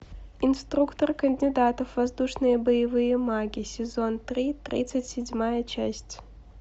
инструктор кандидатов воздушные боевые маги сезон три тридцать седьмая часть